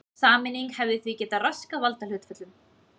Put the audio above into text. Sameining hefði því getað raskað valdahlutföllum.